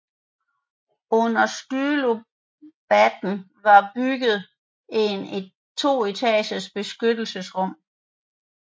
Under stylobaten var bygget en to etagers beskyttelsesrum